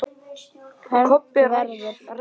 Fermt verður.